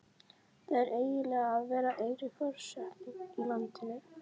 Það er einmanalegt að vera eini forsetinn í landinu.